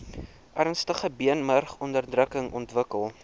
ernstige beenmurgonderdrukking ontwikkel